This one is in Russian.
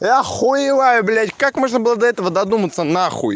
я охуеваю блядь как можно было до этого додуматься нахуй